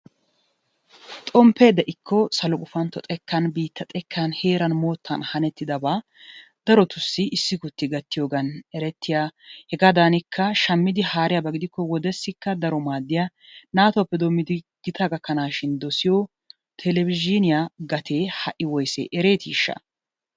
Xomppee de'ikko salo gupantto xekkan biitta xekkan heeran moottan hanettidaba darotussi issigutti gattiyogan erettiya hegaadaanikka shammidi haariyaba gidikko wodessikka daro maaddiya daro naatuppe doommidi gitaa gakkanaashin dosiyo telebizhiuniya gatee ha'i woyise ereetiishsha?